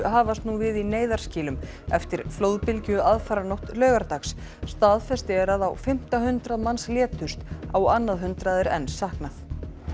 hafast nú við í neyðarskýlum eftir flóðbylgju aðfaranótt laugardags staðfest er að á fimmta hundrað manns létust á annað hundrað er enn saknað